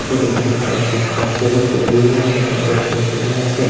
ইয়াতে দেখিবলৈ পাইছোঁ যে ইয়াত বহুতো বিভিন্ন ধৰণৰ গছ-গছনিও আছে।